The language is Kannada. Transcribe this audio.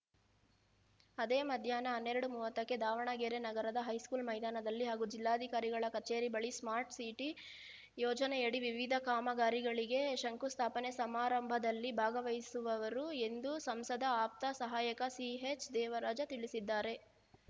ಅದೇ ಮಧ್ಯಾಹ್ನ ಹನ್ನೆರಡು ಮೂವತ್ತಕ್ಕೆ ದಾವಣಗೆರೆ ನಗರದ ಹೈಸ್ಕೂಲ್‌ ಮೈದಾನದಲ್ಲಿ ಹಾಗೂ ಜಿಲ್ಲಾಧಿಕಾರಿಗಳ ಕಚೇರಿ ಬಳಿ ಸ್ಮಾರ್ಟ್ ಸಿಟಿ ಯೋಜನೆಯಡಿ ವಿವಿಧ ಕಾಮಗಾರಿಗಳಿಗೆ ಶಂಕು ಸ್ಥಾಪನೆ ಸಮಾರಂಭದಲ್ಲಿ ಭಾಗವಹಿಸುವವರು ಎಂದು ಸಂಸದ ಆಪ್ತ ಸಹಾಯಕ ಸಿಎಚ್‌ದೇವರಾಜ ತಿಳಿಸಿದ್ದಾರೆ